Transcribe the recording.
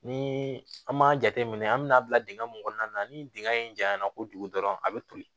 Ni an m'a jateminɛ an bɛ n'a bila dingɛ mun kɔnɔna na ni dingɛ in janya na kojugu dɔrɔn a bɛ toli